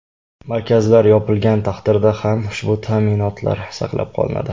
Markazlar yopilgan taqdirda ham ushbu ta’minotlar saqlab qolinadi.